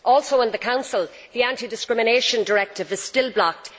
Also, in the Council, the anti discrimination directive is still blocked.